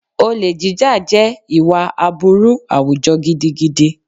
Olè jíjà jẹ́ ìwà aburú àwùjọ gidigidi